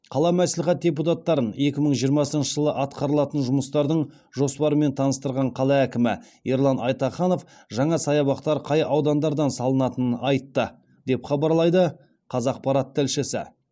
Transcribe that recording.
қалалық мәслихат депутаттарын екі мың жиырмасыншы жылы атқарылатын жұмыстардың жоспарымен таныстырған қала әкімі ерлан айтаханов жаңа саябақтар қай аудандардан салынатынын айтты деп хабарлайды қазақпарат тілшісі